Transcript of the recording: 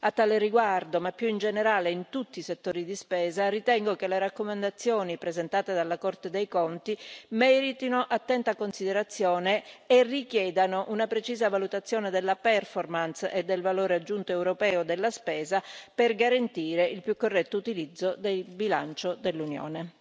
A tale riguardo, ma più in generale in tutti i settori di spesa, ritengo che le raccomandazioni presentate dalla Corte dei conti meritino attenta considerazione e richiedano una precisa valutazione della performance e del valore aggiunto europeo della spesa per garantire il più corretto utilizzo del bilancio dell'Unione.